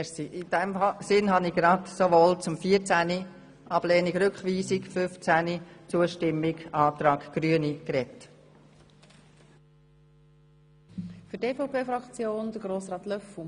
In diesem Sinn habe ich mich sowohl zu Artikel 14 – Ablehnung des Rückweisungsantrags – als auch zu Artikel 15 – Zustimmung zum Antrag Grüne – geäussert.